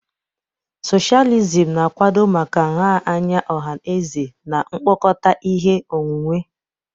Socialism na-akwado maka nha anya ọha na eze na mkpokọta ihe onwunwe.